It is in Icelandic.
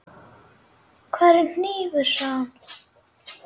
Hvar er hnífur, sagði hún.